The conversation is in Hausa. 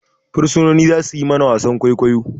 Bursunoni za suyi mana wasan kwaikwayo